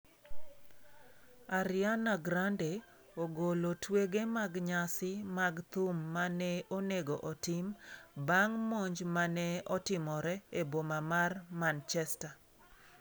Ariana Grande ogolo twege mag nyasi mag thum ma ne onego otim bang' monj ma ne otimore eboma mar Manchester